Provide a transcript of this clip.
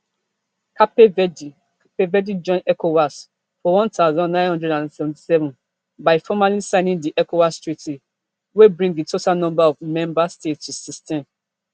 cape verde cape verde join ecowas for one thousand, nine hundred and seventy-seven by formally signing di ecowas treaty wey bring di total number of member states to sixteen